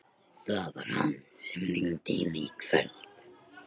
Það var hann sem hringdi í mig í kvöld.